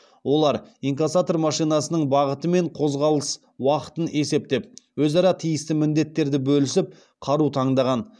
олар инкассатор машинасының бағыты мен қозғалыс уақытын есептеп өзара тиісті міндеттерді бөлісіп қару таңдаған